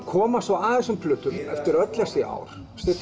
koma svo að þessum plötum eftir öll þessi ár